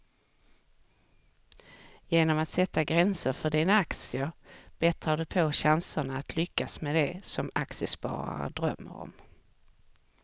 Genom att sätta gränser för dina aktier bättrar du på chanserna att lyckas med det som aktiesparare drömmer om.